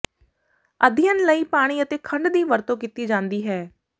ਅਧਿਐਨ ਲਈ ਪਾਣੀ ਅਤੇ ਖੰਡ ਦੀ ਵਰਤੋਂ ਕੀਤੀ ਜਾਂਦੀ ਹੈ